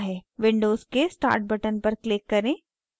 windows के start button पर click करें